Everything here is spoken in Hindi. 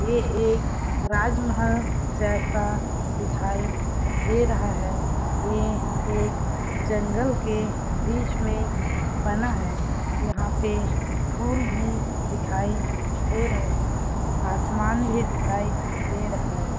ये एक राजमहल जैसा दिखाई दे रहा है ये एक जंगल के बीच में बना है यहाँ पे फूल भी दिखाई दे रहे है आसमान भी दिखाई दे रहा है।